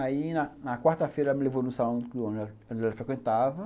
Aí na na quarta-feira ela me levou no salão onde ela frequentava.